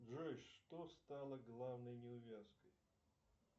джой что стало главной неувязкой